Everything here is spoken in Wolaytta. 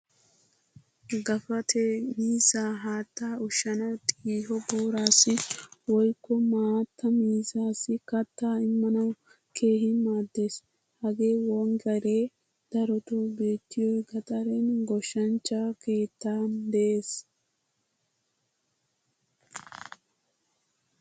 Gafatte miizza haatta ushshanawu xiho boorassi woykko maattaa miizzassi katta immanawu keehin maaddees. Hagee Wonggre darotto beetiyo gaxaren goshshanchcha keetta de'ees.